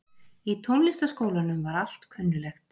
Í Tónlistarskólanum var allt kunnuglegt.